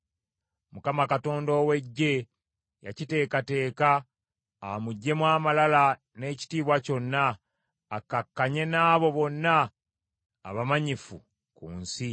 Mukama Katonda ow’Eggye yakiteekateeka, amuggyemu amalala n’ekitiibwa kyonna, akkakkanye n’abo bonna abamanyifu ku nsi.